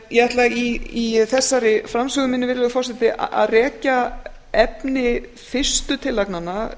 ég ætla í þessari framsögu minni virðulegur forseti að rekja efni fyrstu tillagnanna